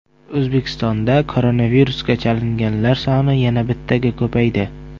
O‘zbekistonda koronavirusga chalinganlar soni yana bittaga ko‘paydi.